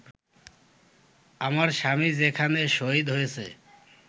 আমার স্বামী যেখানে শহীদ হয়েছে